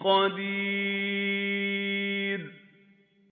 قَدِيرٌ